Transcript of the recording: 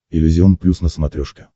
иллюзион плюс на смотрешке